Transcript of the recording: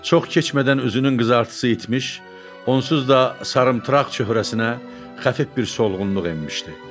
Çox keçmədən özünün qızartısı itmiş, onsuz da sarımtıraq çöhrəsinə xəfif bir solğunluq enmişdi.